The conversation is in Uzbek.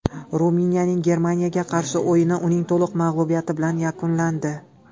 Ruminiyaning Germaniyaga qarshi o‘yini uning to‘liq mag‘lubiyati bilan yakunlandi.